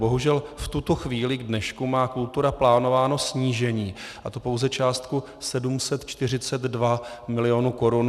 Bohužel v tuto chvíli, k dnešku, má kultura plánováno snížení, a to pouze částku 742 milionů korun, něco přes 742 milionů korun.